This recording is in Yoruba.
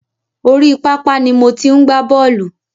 Orí pápá ni mo ti ń gbá bọ̀ọ́lù.